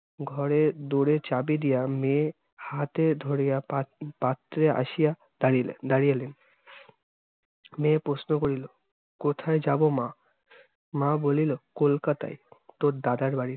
ঘরে দৌড়ে চাবি দিয়া মেয়ে হাতে ধরিয়া পাত~ পাত্রে আসিয়া দারিলেন দারিয়ালেন। মেয়ে প্রশ্ন করিল, কোথায় যাব মা? মা বলিলো কোলকাতায়, তোর দাদার বাড়িতে।